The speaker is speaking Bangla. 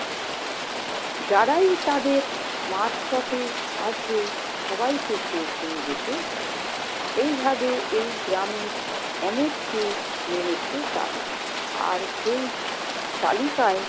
যারাই তাদের মাঝপথে আসবে সবাইকে শেষ হয়ে যেতে হবে। এইভাবে এই গ্রামের অনেককে মেরেছে তারা। আর সেই তালিকায়